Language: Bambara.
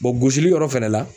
gosili yɔrɔ fɛnɛ la.